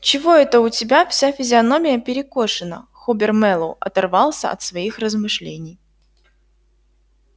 чего это у тебя вся физиономия перекошена хобер мэллоу оторвался от своих размышлений